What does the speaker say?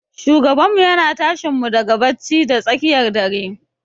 Shugabanmu yana tashinmu daga bacci da tsakiyar dare.